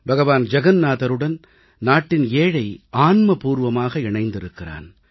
பகவான் ஜகன்நாதருடன் நாட்டின் ஏழை ஆன்மபூர்வமாக இணைந்திருக்கிறான்